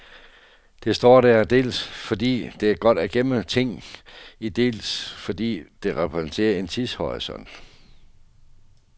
Det står der dels fordi det er godt at gemme ting i, dels fordi det repræsenterer en tidshorisont.